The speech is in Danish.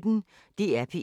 DR P1